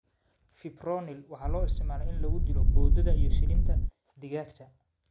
Fipronil waxaa loo isticmaalaa in lagu dilo boodada iyo shilinta digaagga.